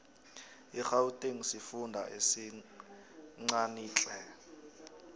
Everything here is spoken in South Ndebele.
igauteng sifunda esincanitle